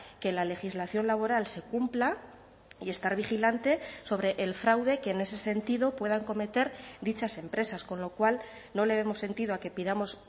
que la legislación laboral se cumpla y estar vigilante sobre el fraude que en ese sentido puedan cometer dichas empresas con lo cual no le vemos sentido a que pidamos